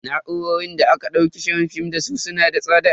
Na'urorin da aka daukar shirin film dasu su na da tsada.